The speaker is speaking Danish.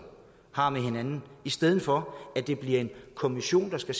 tager med hinanden i stedet for at det bliver en kommission der skal